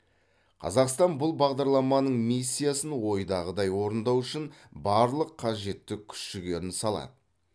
қазақстан бұл бағдарламаның миссиясын ойдағыдай орындау үшін барлық қажетті күш жігерін салады